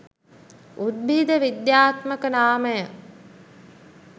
උද්භිද විද්‍යාත්මක නාමය